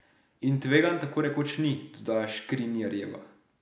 In tveganj tako rekoč ni, dodaja Škrinjarjeva.